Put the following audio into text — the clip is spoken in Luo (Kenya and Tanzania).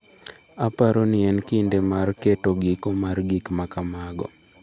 “Aparo ni en kinde mar keto giko mar gik ma kamago.”